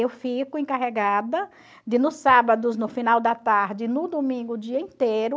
Eu fico encarregada de, nos sábados, no final da tarde, no domingo, o dia inteiro.